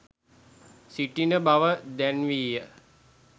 සිටින බව දැන්වීය.